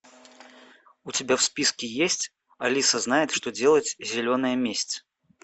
у тебя в списке есть алиса знает что делать зеленая месть